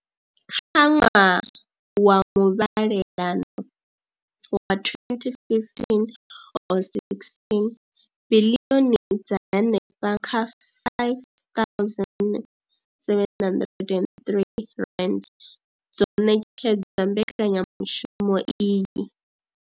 Kha ṅwaha wa muvhalelano wa 2015 or 16, biḽioni dza henefha kha R5 703 dzo ṋetshedzwa mbekanya mushumo iyi.